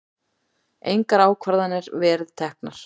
Engar ákvarðanir verið teknar